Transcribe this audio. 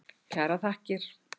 Kærar þakkir.